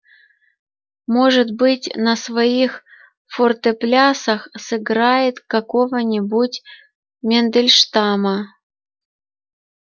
может быть на своих фортеплясах сыграет какого-нибудь мендельштама